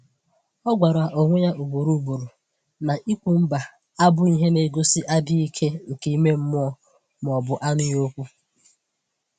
Ọ gwara onwe ya ugboro ugboro na ikwu “mba” abụghị ihe na-egosi adịghị ike nke ime mmụọ ma ọ bụ anụghị okwu.